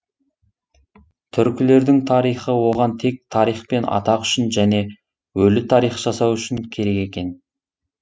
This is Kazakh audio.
түркілердің тарихы оған тек тарих пен атақ үшін және өлі тарих жасау үшін керек екен